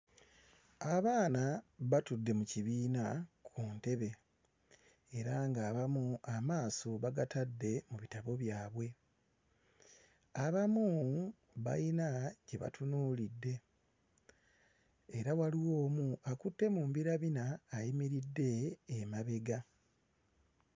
Abaana batudde mu kibiina ku ntebe era ng'abamu amaaso bagatadde mu bitabo byabwe, abamu bayina kye batunuulidde era waliwo omu akutte mu mbinabina ayimiridde emabega.